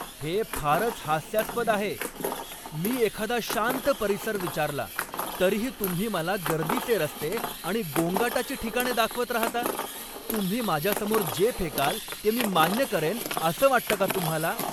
हे फारच हास्यास्पद आहे. मी एखादा शांत परिसर विचारला, तरीही तुम्ही मला गर्दीचे रस्ते आणि गोंगाटाची ठिकाणे दाखवत राहता. तुम्ही माझ्यासमोर जे फेकाल ते मी मान्य करेन असं वाटतं का तुम्हाला?